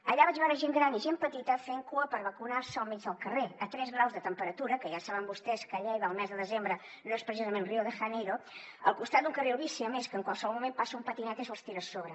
allà vaig veure gent gran i gent petita fent cua per vacunar se al mig del carrer a tres graus de temperatura que ja saben vostès que a lleida el mes de desembre no és precisament rio de janeiro al costat d’un carril bici a més que en qualsevol moment passa un patinet i se’ls tira a sobre